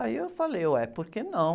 Aí eu falei, ué, por que não?